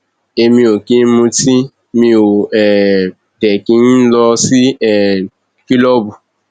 èmi ò kì í mutí mi ó um dé kí n n lọ sí um kìlọọbù